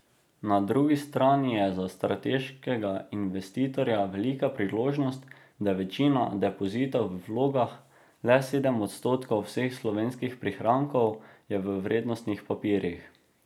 Na drugi strani je za strateškega investitorja velika priložnost, da je večina depozitov v vlogah, le sedem odstotkov vseh slovenskih prihrankov je v vrednostnih papirjih.